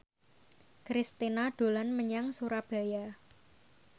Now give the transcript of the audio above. Kristina dolan menyang Surabaya